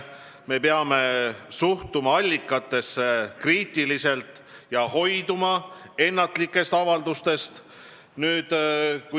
Me peame suhtuma allikatesse kriitiliselt ja hoiduma ennatlikest avaldustest.